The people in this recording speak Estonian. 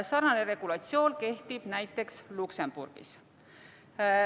Sarnane regulatsioon kehtib näiteks Luksemburgis.